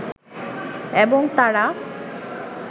এবং তারা